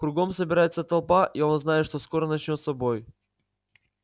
кругом собирается толпа и он знает что скоро начнётся бой